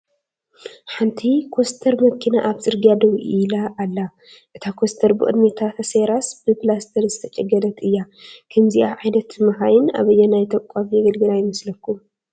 ሓንቲ ኮስተር መኪና ኣብ ፅርግያ ደው ኢላ ኣላ፡፡ እታ ኮስተር ብቕድሚታ ተሰይራስ ብኘላስተር ዝተጨገነት እያ፡፡ ከምዚኣ ዓይነት መካይን ኣበየናይ ተቋም የገልግላ ይመስለኩም?